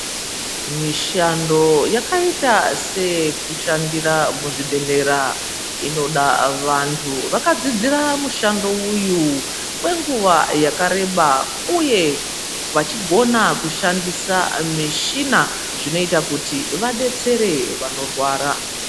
Mishando yakaita seyekushandira muzvibhedhlera inoda vantu vakadzidzira mushando uyu kwenguva yakareba, uye vachigona kushandisa mishina zvinoita kuti vabetsere vanorwara.